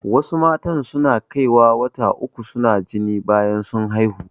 Wasu matan su na kaiwa wata uku su na jini bayan sun haihu